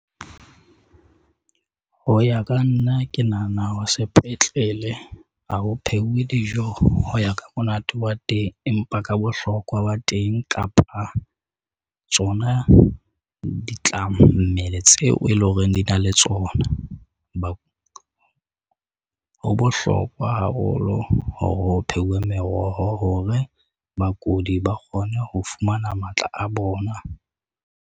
Ho ya ka nna ke nahana hore sepetlele ha ho pheuwe dijo ho ya ka monate wa teng, empa ka bohlokwa ba teng kapa, tsona di tla mmele tseo e leng hore di na le tsona. Ho bohlokwa haholo hore ho pheuwe meroho hore bakudi ba kgone ho fumana matla a bona.